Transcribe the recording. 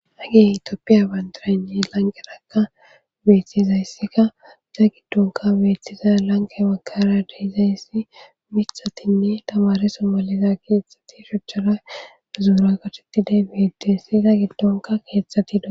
Hage itooppiya bandaranji lanqenaka beeththizayssika iza giddonka beethtiza lanka makara deizayssi mithatinne tamare sommaliza keetxati shochchara uzuura qatetidey beettessi iza giddonka keettatido.